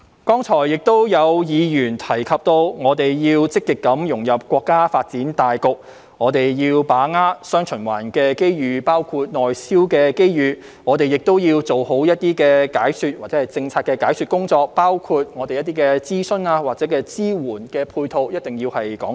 剛才亦有議員提及我們要積極融入國家發展大局，要把握"雙循環"機遇，包括內銷的機遇，我們要做好政策的解說工作，包括一定要就諮詢或支援配套作清楚解釋。